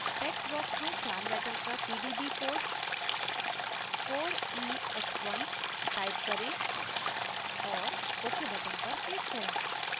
text box में चार letter का pdb code 4ex1 type करें और ok button पर click करें